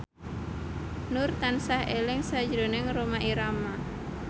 Nur tansah eling sakjroning Rhoma Irama